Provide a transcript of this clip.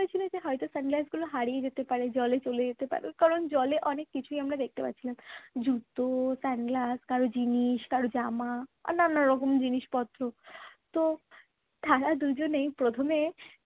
মিছিমিছি হয়তো sunglass গুলো হারিয়ে যেতে পারে জলে চলে যেতে পারে কারণ জলে আমরা অনেক কিছুই দেখছিলাম। জুতো sunglass কারো জিনিস কারোর জামা আরো নানারকম জিনিসপত্র তো তারা দুজনেই প্রথমে